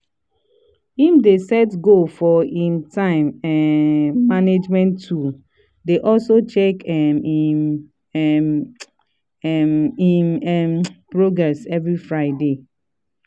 him dey set goal for him time um management tool dey also check um him um um him um progress every friday.